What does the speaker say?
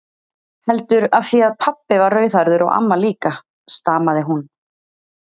Heldur af því að pabbi var rauðhærður og amma líka, stamaði hún.